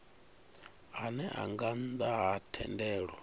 ane nga nnda ha thendelo